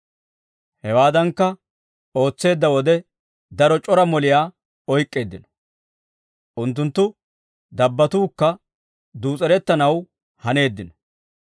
Hewaadankka ootseedda wode, daro c'ora moliyaa oyk'k'eeddino. Unttunttu dabbatuukka duus'erettanaw haneeddino.